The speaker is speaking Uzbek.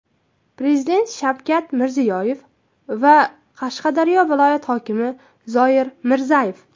Prezident Shavkat Mirziyoyev va Qashqadaryo viloyati hokimi Zoir Mirzayev.